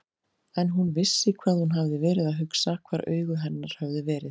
En hún vissi hvað hún hafði verið að hugsa, hvar augu hennar höfðu verið.